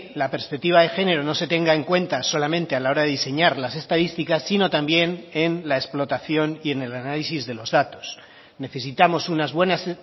la perspectiva de género no se tenga en cuenta solamente a la hora de diseñar las estadísticas sino también en la explotación y en el análisis de los datos necesitamos unas buenas